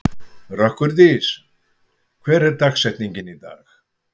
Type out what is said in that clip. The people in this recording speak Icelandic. Rökkurdís, hver er dagsetningin í dag?